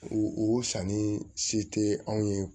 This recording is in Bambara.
U sanni se tɛ anw ye